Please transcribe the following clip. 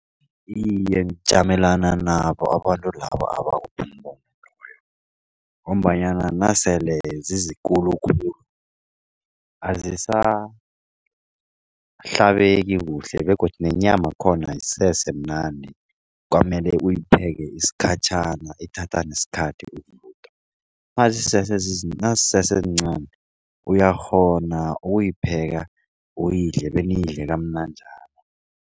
Iye, ngijamelana nabo abantu laba ngombanyana nasele zizikulukhulu azisahlabeki kuhle begodu nenyama khona ayisesemnandi. Kwamele uyipheka isikhatjhana ithatha nesikhathi ukuvuthwa. Nazisesezincani uyakghona ukuyipheka uyidle beniyidle kamnanjana.